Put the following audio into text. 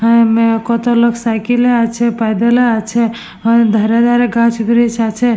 হা মে কত লোক সাইকেল এ আছে পায়দল এ আছে ধারে ধারে গাছ ব্রিচ আছে।